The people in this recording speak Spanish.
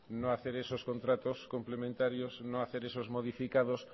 no hacer esos contratos complementarios no hacer esos modificados